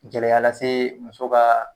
Gɛlɛya lase muso ka